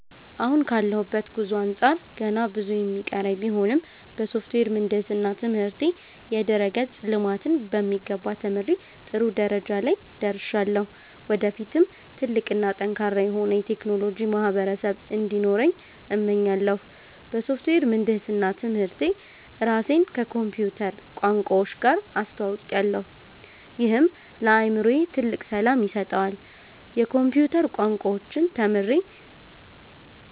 አሁን ካለሁበት ጉዞ አንጻር ገና ብዙ የሚቀረኝ ቢሆንም፣ በሶፍትዌር ምህንድስና ትምህርቴ የድረ-ገጽ ልማትን በሚገባ ተምሬ ጥሩ ደረጃ ላይ ደርሻለሁ። ወደፊትም ትልቅ እና ጠንካራ የሆነ የቴክኖሎጂ ማህበረሰብ እንዲኖረኝ እመኛለሁ። በሶፍትዌር ምህንድስና ትምህርቴ ራሴን ከኮምፒውተር ቋንቋዎች ጋር አስተውውቄያለሁ፤ ይህም ለአእምሮዬ ትልቅ ሰላም ይሰጠዋል። የኮምፒውተር ቋንቋዎችን ተምሬ